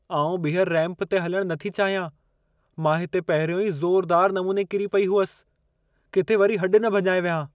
आउं ॿिहर रैंप ते हलणु नथी चाहियां। मां हिते पहिरियों ई ज़ोरुदार नमूने किरी पई हुअसि। किथे वरी हॾ न भञाए वियां।